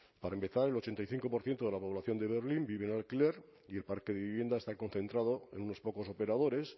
para empezar el ochenta y cinco por ciento de la población de berlín vive en alquiler y el parque de vivienda está concentrado en unos pocos operadores